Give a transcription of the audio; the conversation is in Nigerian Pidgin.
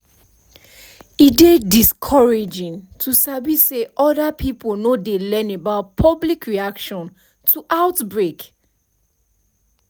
e dey discouraging to sabi say other pipo no dey learn about public reaction to outbreak